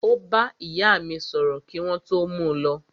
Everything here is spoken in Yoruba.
Ó bá ìyá mí sọ̀rọ̀ kí wọ́n tó mú u lọ.